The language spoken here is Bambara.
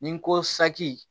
Ni n ko saki